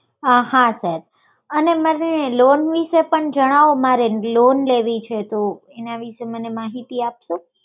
હા sir અને મને loan વિષે પણ જણાવો મારે loan લેવી છે તો એના માટે મારે માહિતી આપશો